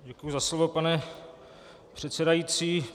Děkuji za slovo, pane předsedající.